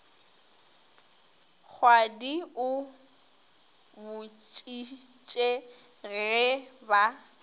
kgwadi o bušitše ge ba